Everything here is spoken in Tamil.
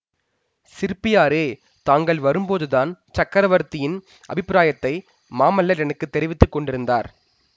சிற்பியாரே தாங்கள் வரும்போதுதான் சக்கரவர்த்தியின் அபிப்பிராயத்தை மாமல்லர் எனக்கு தெரிவித்து கொண்டிருந்தார்